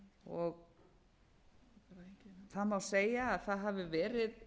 það má segja að það hafi verið